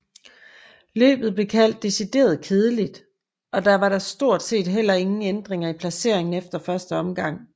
Løbet blev kaldt decideret kedeligt og der var da stort set heller ingen ændringer i placeringerne efter første omgang